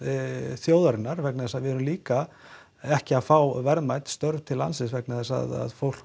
þjóðarinnar vegna þess að við erum líka ekki að fá verðmæt störf til landsins vegna þess að fólk